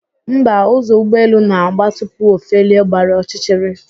Mba, ụzọ ụgbọelu na-agba tupu o felie gbara ọchịchịrị